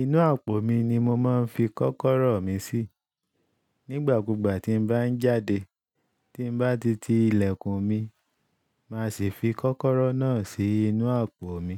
Inú àpò mi ni mo máa ń fi kọ́kọ́rọ́ mi sí. Nígbà kúgbà tí n bá ń jáde, tí n bá titi ilẹ̀kùn mi, màá sì fi kọ́kọ́rọ́ náà sí inú àpò mi.